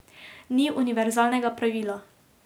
Ni univerzalnega pravila.